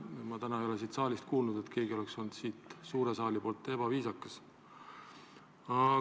Ma ei ole täna kuulnud, et keegi oleks siit suure saali poolt ebaviisakas olnud.